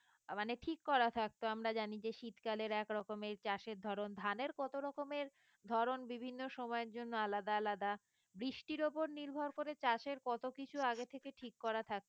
আহ মানে ঠিক করা থাকতো আমরা জানি যে শীতকালের একরকম এর চাষের ধরন ধানের কত রকমের ধরন বিভিন্ন সময়ের জন্য আলাদা আলাদা বৃষ্টির ওপর নির্ভর করে চাষের কত কিছু আগে থেকে ঠিক করা থাকতো